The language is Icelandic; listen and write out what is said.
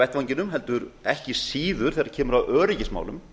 vettvanginum heldur ekki síður þegar kemur að öryggismálum